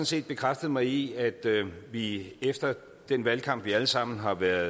set bekræftet mig i at vi efter den valgkamp vi alle sammen har været